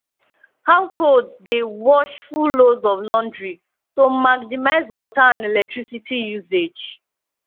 households dey wash full loads of laundry to maximize water and electricity usage